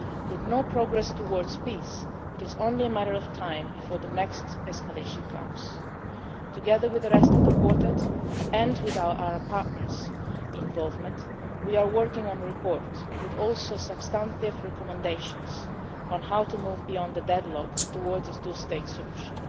Palestine. With no progress towards peace, it is only a matter of time before the next escalation comes. Together with the rest of the Quartet and with our Arab partners' involvement we are working on a report with substantive recommendations on how to move beyond the deadlock towards a two state